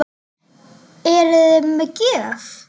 Eruði með gjöf?